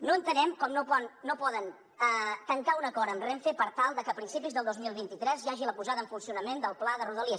no entenem com no poden tancar un acord amb renfe per tal de que a principis del dos mil vint tres hi hagi la posada en funcionament del pla de rodalies